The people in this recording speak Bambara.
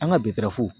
An ka